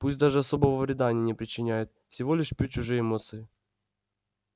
пусть даже особого вреда они не причиняют всего лишь пьют чужие эмоции